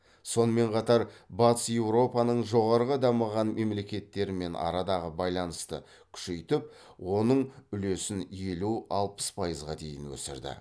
сонымен қатар батыс еуропаның жоғары дамыған мемлекеттерімен арадағы байланысты күшейтіп оның үлесін елу алпыс пайызға дейін өсірді